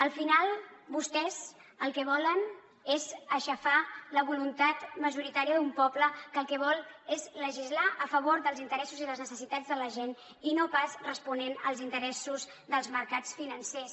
al final vostès el que volen és aixafar la voluntat majoritària d’un poble que el que vol és legislar a favor dels interessos i les necessitats de la gent i no pas responent als interessos dels mercats financers